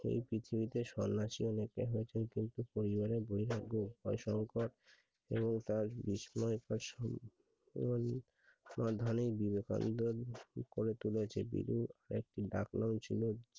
এই পৃথিবীতে সন্ন্যাসী একটি পরিবারে দুর্ভাগ্য যা সংকট ও তার বিস্ময়ে এবং করেছে টের ডাক নাম ছিল বিলু